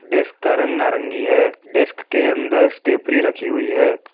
Desk का रंग नारंगी है डेस्क के अंदर स्टेफ्री रखी हुई है।